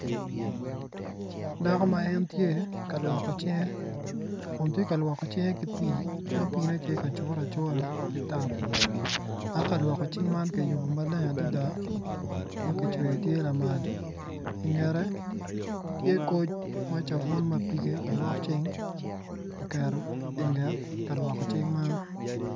Dako ma en tye kalwoko cinge, kun tye ka lwoko cinge ki pi, ma pine tye ka curo acura dok kalwoko cing man kiyubo maber adada makicweyo tye lamal i ngete tye koc masabuc mapige ka lwok cing kiketo inget kalwok cing man.